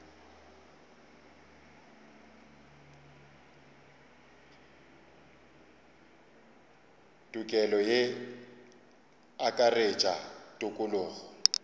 tokelo ye e akaretša tokologo